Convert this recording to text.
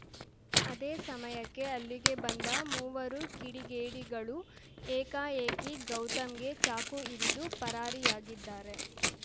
ಅದೇ ಸಮಯಕ್ಕೆ ಅಲ್ಲಿಗೆ ಬಂದ ಮೂವರು ಕಿಡಿಗೇಡಿಗಳು ಏಕಾಏಕಿ ಗೌತಮ್‌ಗೆ ಚಾಕು ಇರಿದು ಪರಾರಿಯಾಗಿದ್ದಾರೆ